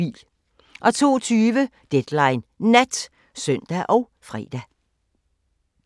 02:20: Deadline Nat (søn og fre)